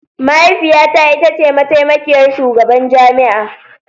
Mahaifiyata ita ce mataimakiyar shugaban jami'a